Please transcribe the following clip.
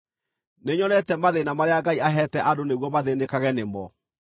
Nĩnyonete mathĩĩna marĩa Ngai aheete andũ nĩguo mathĩĩnĩkage nĩ mo.